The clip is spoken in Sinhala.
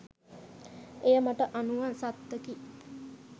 එය මට අනුව සත්තකි